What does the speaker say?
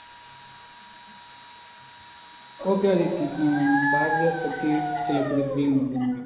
ஓஎகே நான் பாரதியார் பற்றி சில குறிப்புகள்